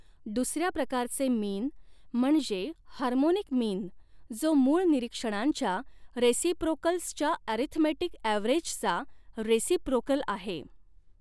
दुसऱ्या प्रकारचे मीन म्हणजे हार्मोनिक मीन जो मूळ निरीक्षणांच्या रेसिप्रोकल्स च्या ॲरीथमेटिक ॲव्हरेज चा रेसिप्रोकल आहे.